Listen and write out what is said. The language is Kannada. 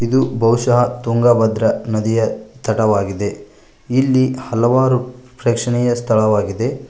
ಇದು ಬಹುಶಹ ತುಂಗಭದ್ರ ನದಿಯ ತಡವಾಗಿದೆ ಇಲ್ಲಿ ಹಲವಾರು ಪ್ರೇಕ್ಷಣೀಯ ಸ್ಥಳವಾಗಿದೆ.